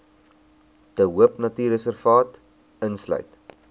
de hoopnatuurreservaat insluit